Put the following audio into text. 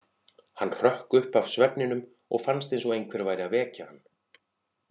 Hann hrökk upp af svefninum og fannst eins og einhver væri að vekja hann.